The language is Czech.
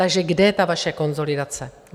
Takže kde je ta vaše konsolidace?